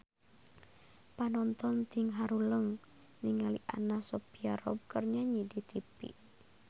Panonton ting haruleng ningali Anna Sophia Robb keur nyanyi di tipi